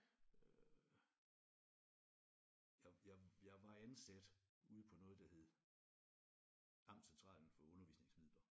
Øh jeg jeg jeg var ansat ude på noget der hed Amtscentralen for Undervisningsmidler